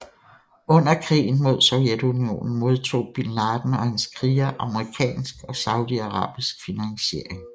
Under krigen mod Sovjetunionen modtog bin Laden og hans krigere amerikansk og saudiarabisk finansiering